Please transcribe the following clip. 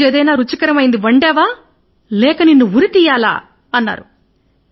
ఈరోజు ఏదైనా రుచికరమైనది వండావా లేదంటే నేను ఉరి తయారు చేయాలా అన్నాడు